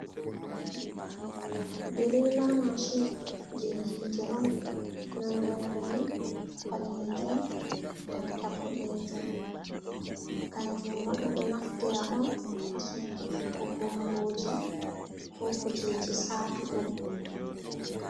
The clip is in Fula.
Diriila mashin, jey hiite on nonnde man ni ɓaleejum nanta boɗeejum, kanjum man ɓe ɗo naftira on haa sumputuggo bonngooji ko kujeeji saatuɗum.